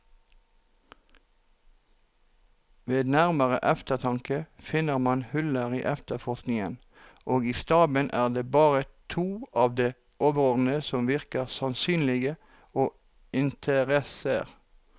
Ved nærmere eftertanke finner man huller i efterforskningen, og i staben er det bare to av de overordnede som virker sannsynlige og interesserer.